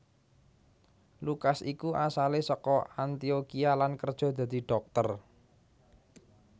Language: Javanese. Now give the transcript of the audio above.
Lukas iku asalé saka Antiokhia lan kerja dadi dhokter